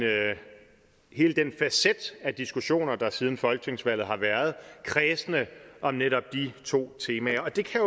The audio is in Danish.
hele den facet af diskussioner der siden folketingsvalget har været kredsende om netop de to temaer og det kan